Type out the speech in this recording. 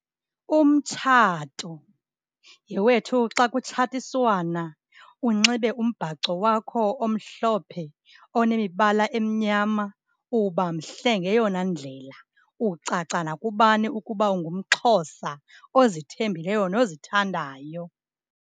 Umtshato. Yhe wethu xa kutshatiswana, unxibe umbhaco wakho omhlophe onemibala emnyama, uba mhle ngeyona ndlela. Ucaca nakubani ukuba ungumXhosa ozithembileyo nozithandayo.